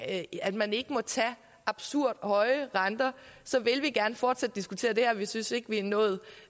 at man ikke må tage absurd høje renter så vil vi gerne fortsat diskutere det her vi synes ikke vi er nået